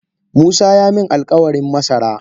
Musa yaamin alkawarin masara.